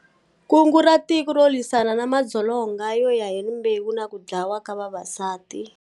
Kungu ra Tiko ro lwisana na madzolonga yoya hi rimbewu na ku dlawa ka vavasati.